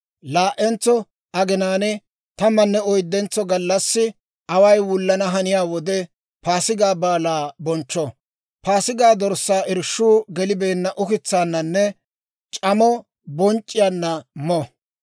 laa"entso aginaan tammanne oyddentso gallassi away wullana haniyaa wode Paasigaa Baalaa bonchcho. Paasigaa dorssaa irshshuu gelibeenna ukitsaananne c'amo bonc'c'iyaanna mo.